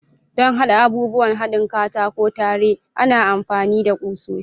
Don haɗa abubuwan haɗin katako tare, ana amfani da kusoshi.